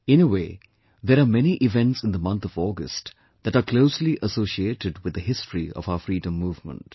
In a way, there are many events in the month of August that are closely associated with the history of our freedom movement